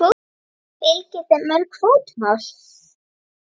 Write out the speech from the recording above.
Fylgir þeim mörg fótmál.